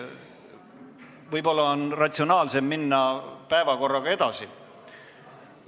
Võib-olla on siiski ratsionaalsem minna päevakorraga edasi?